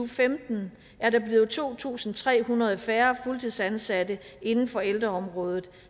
femten er der blevet to tusind tre hundrede færre fuldtidsansatte inden for ældreområdet